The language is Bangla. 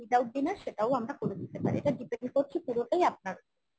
without dinner সেটাও আমরা করে দিতে পারি এটা depend করছি পুরোটাই আপনার ওপর